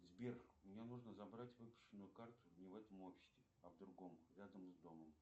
сбер мне нужно забрать выпущенную карту не в этом офисе а в другом рядом с домом